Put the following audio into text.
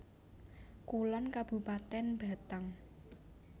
Kulon Kabupatèn Batang